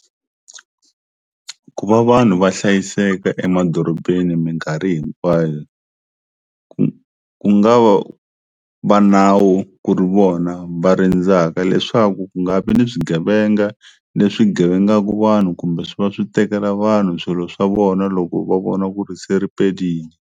Ku va vanhu va hlayiseka emadorobeni minkarhi hinkwayo ku ku nga va va nawu ku ri vona va rindzaka leswaku ku nga vi ni swigevenga leswi gevengaku vanhu kumbe swi va swi tekela vanhu swilo swa vona loko va vona ku ri se riperilini.